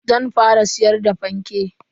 Zan fara siyar da fanke.